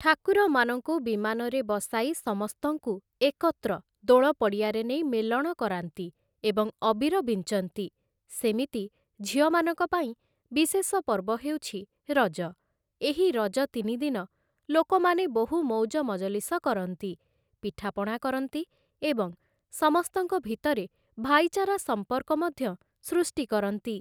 ଠାକୁରମାନଙ୍କୁ ବିମାନରେ ବସାଇ ସମସ୍ତଙ୍କୁ ଏକତ୍ର ଦୋଳ ପଡ଼ିଆରେ ନେଇ ମେଲଣ କରାନ୍ତି ଏବଂ ଅବିର ବିଞ୍ଚନ୍ତି ସେମିତି ଝିଅମାନଙ୍କ ପାଇଁ ବିଶେଷ ପର୍ବ ହେଉଛି ରଜ ଏହି ରଜ ତିନିଦିନି ଲୋକମାନେ ବହୁ ମୌଜ ମଜଲିସ କରନ୍ତି ପିଠାପଣା କରନ୍ତି ଏବଂ ସମସ୍ତଙ୍କ ଭିତରେ ଭାଇଚାରା ସମ୍ପର୍କ ମଧ୍ୟ ସୃଷ୍ଟି କରନ୍ତି ।